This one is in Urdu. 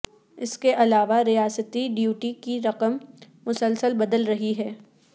اس کے علاوہ ریاستی ڈیوٹی کی رقم مسلسل بدل رہی ہے